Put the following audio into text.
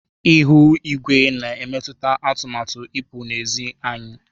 Ihu igwe na emetụta atụmatụ ipụ na ezị́ anyi.